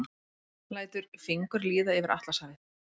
Lætur fingur líða yfir Atlantshafið.